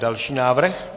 Další návrh.